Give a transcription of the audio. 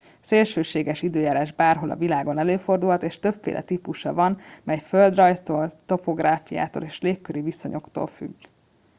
szélsőséges időjárás bárhol a világon előfordulhat és többféle típusa van mely földrajztól topográfiától és legköri viszonyoktól függ